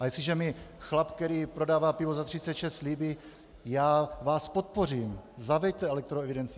A jestliže mi chlap, který prodává pivo za 36, slíbí: Já vás podpořím, zaveďte elektroevidenci.